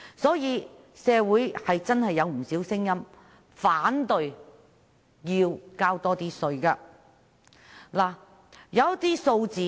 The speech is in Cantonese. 所以，社會真的有不少聲音反對要多交稅。